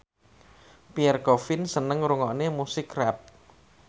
Pierre Coffin seneng ngrungokne musik rap